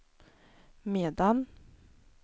medan